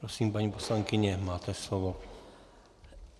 Prosím, paní poslankyně, máte slovo.